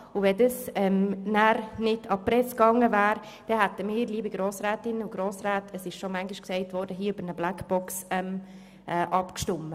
Wäre dieses Schreiben nicht an die Presse gegeben worden, dann, liebe Grossrätinnen und Grossräte, hätten wir – wie bereits mehrmals erwähnt – hier über eine Blackbox abgestimmt.